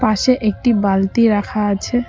পাশে একটি বালতি রাখা আছে।